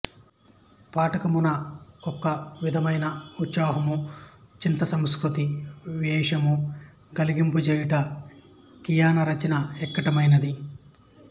పాఠకున కొకవిధమైన యుత్సాహము చిత్తసంస్కృతి యావేశము గలిగింపజేయుట కీయన రచన యక్కటైనది